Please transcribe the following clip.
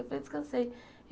Eu falei, descansei.